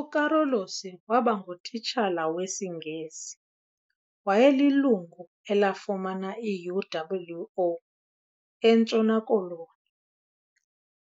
UCarolus wabangu titshala wesiNgesi. Wayelilungu elafumana iUWO eNtshona koloni